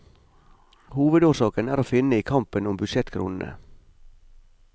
Hovedårsaken er å finne i kampen om budsjettkronene.